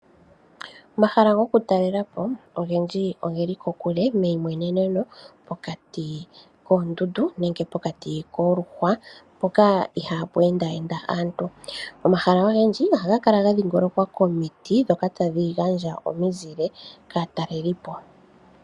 Omahala gokutalelapo ogendji ogeli kokule, meyimweneneno, pokati koondundu nenge pokati koluhwa mpoka ihaa pu endaayenda aantu. Omahala ogendji oha ga kala ga dhingolokwa komiti ndhoka tadhi gandja omizile kaatalelipo.